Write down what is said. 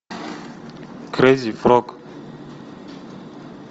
крейзи фрог